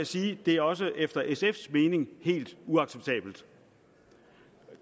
sige at det også efter sfs mening helt uacceptabelt